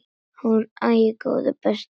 Hún: Æi, góði besti.!